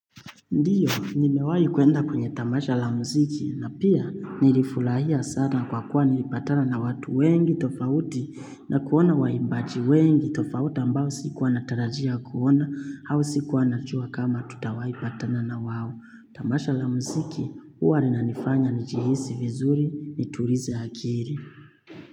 Ndiyo, nimewai kuenda kwenye tamasha la mziki na pia nilifulahia sana kwa kuwa nilipatana na watu wengi tofauti na kuona waimbaji wengi tofauti ambao sikuwa natarajia kuona au sikuwa nachua kama tutawaipatana na wao. Tamasha la mziki, huwa linanifanya nijihisi vizuri niturize akiri.